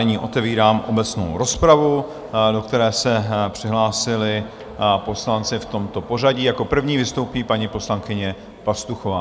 Nyní otevírám obecnou rozpravu, do které se přihlásili poslanci v tomto pořadí: jako první vystoupí paní poslankyně Pastuchová.